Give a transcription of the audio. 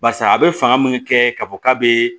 Barisa a bɛ fanga min kɛ k'a fɔ k'a bɛ